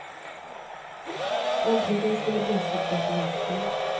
Äntligen skulle brosket bort ur axeln.